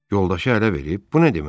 Yoldaşı ələ verib, bu nə deməkdir?